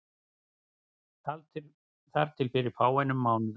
Þar til fyrir fáeinum mánuðum.